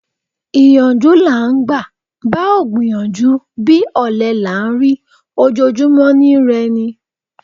Ìyànjú là ń gbà: bá ò gbìyànjú bí, ọ̀lẹ là ń rí: ojojúmọ́ ni I rẹ ni.